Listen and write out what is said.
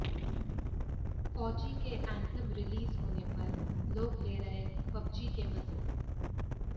फौजी के anthem release होने पर लोग ले रहे पबजी के मजे